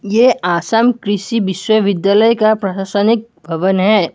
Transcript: ये असम कृषि विश्वविद्यालय का प्रशासनिक भवन है।